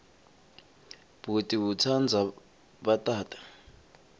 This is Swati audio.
bhuti utsandza bhatata